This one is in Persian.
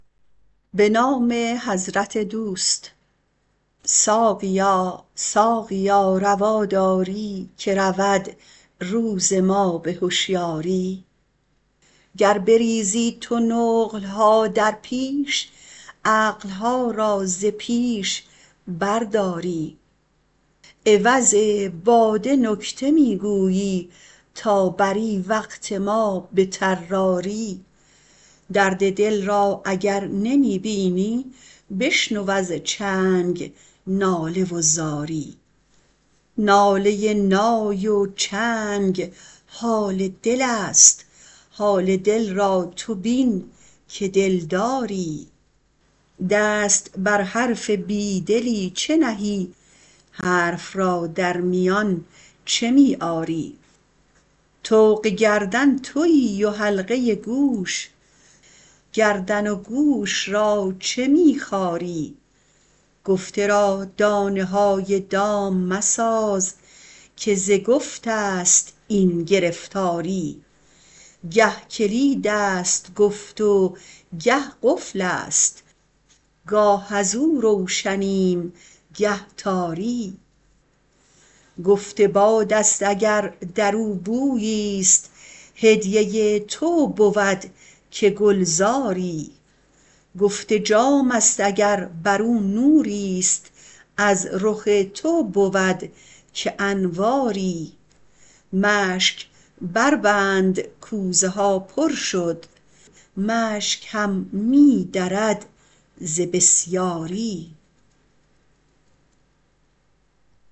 ساقیا ساقیا روا داری که رود روز ما به هشیاری گر بریزی تو نقل ها در پیش عقل ها را ز پیش برداری عوض باده نکته می گویی تا بری وقت ما به طراری درد دل را اگر نمی بینی بشنو از چنگ ناله و زاری ناله نای و چنگ حال دلست حال دل را تو بین که دلداری دست بر حرف بی دلی چه نهی حرف را در میان چه می آری طوق گردن توی و حلقه گوش گردن و گوش را چه می خاری گفته را دانه های دام مساز که ز گفته ست این گرفتاری گه کلیدست گفت و گه قفلست گاه از او روشنیم و گه تاری گفت بادست گر در او بوییست هدیه تو بود که گلزاری گفت جامست گر بر او نوریست از رخ تو بود که انواری مشک بربند کوزه ها پر شد مشک هم می درد ز بسیاری